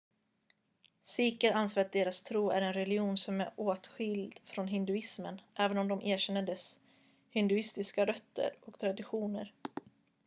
sikher anser att deras tro är en religion som är åtskild från hinduismen även om de erkänner dess hinduistiska rötter och traditioner